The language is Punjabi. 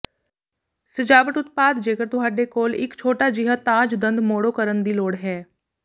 ਸਜਾਵਟ ਉਤਪਾਦ ਜੇਕਰ ਤੁਹਾਡੇ ਕੋਲ ਇੱਕ ਛੋਟਾ ਜਿਹਾ ਤਾਜ ਦੰਦ ਮੋੜੋ ਕਰਨ ਦੀ ਲੋੜ ਹੈ